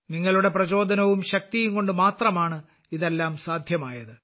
നിങ്ങളുടെ പ്രചോദനവും ശക്തിയും കൊണ്ട് മാത്രമാണ് ഇതെല്ലാം സാധ്യമായത്